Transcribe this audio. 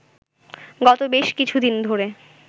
গত বেশ কিছুদিন ধরে